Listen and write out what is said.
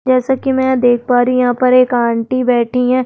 जैसा की मैं यहाँ पर देख पा रही हूँ यहाँ पर एक आंटी बैठी है।